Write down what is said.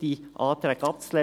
die Anträge abzulehnen.